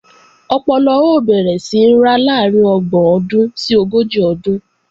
Ọpọlọ ó bẹ̀rẹ̀ sí ń ra láàrín ọgbọ̀n ọdún sí ogójì ọdún